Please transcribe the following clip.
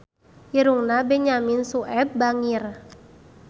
Irungna Benyamin Sueb bangir